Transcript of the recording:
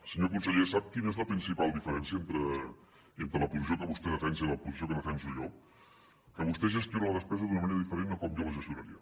senyor conseller sap quina és la principal diferència entre la posició que vostè defensa i la posició que defenso jo que vostè gestiona la despesa d’una manera diferent de com jo la gestionaria